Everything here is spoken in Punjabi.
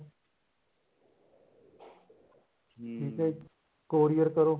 ਠੀਕ ਐ courier ਕਰੋ